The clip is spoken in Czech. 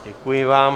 Děkuji vám.